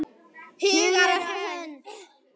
Hugur og hönd!